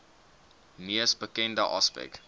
mees bekende aspek